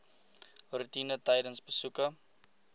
roetine tydens besoeke